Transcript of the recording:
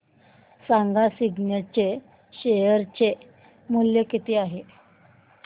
सांगा सिग्नेट चे शेअर चे मूल्य किती आहे